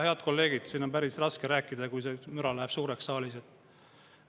Head kolleegid, siin on päris raske rääkida, kui müra läheb suureks saalis.